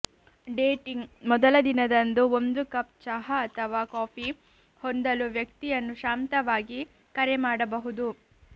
dating ಮೊದಲ ದಿನದಂದು ಒಂದು ಕಪ್ ಚಹಾ ಅಥವಾ ಕಾಫಿ ಹೊಂದಲು ವ್ಯಕ್ತಿಯನ್ನು ಶಾಂತವಾಗಿ ಕರೆ ಮಾಡಬಹುದು